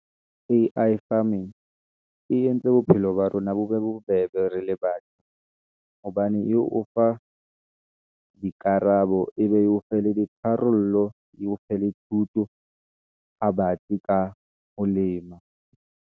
A_I farming e entse bophelo ba rona bo be bobebe rele bane , hobane eo o fa dikarabo, ebe e o fe le tharollo, e o fe le thuto ha batsi ka ho lema.